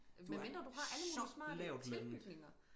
Medmindre du har alle mulige smarte tilbygninger